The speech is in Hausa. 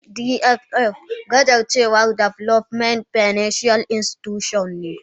DFls gajarcewan development financial Institutions ne.